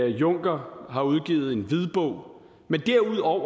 juncker har udgivet en hvidbog men derudover